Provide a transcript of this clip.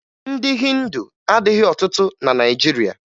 Ndị Hịndu adịghị ọtụtụ na Naịjirịa